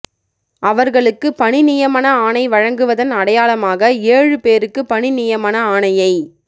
அவர்களுக்கு பணி நியமன ஆணை வழங்குவதன் அடையாளமாக ஏழு பேருக்கு பணி நியமன ஆணையை